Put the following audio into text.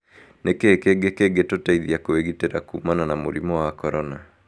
Nĩ kĩĩ kĩngĩ kĩngĩtũteithia kwĩgitĩra kuumana na mũrimũ wa korona?